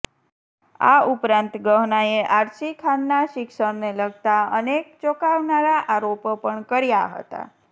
આ ઉપરાંત ગહનાએ આર્શી ખાનના શિક્ષણને લગતા અનેક ચોંકાવનારા આરોપો પણ કર્યા હતા